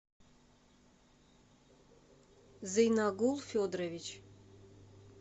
зыйнагул федорович